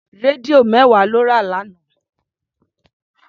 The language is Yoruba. Rédíò mẹ́wàá lọ rà lánàá.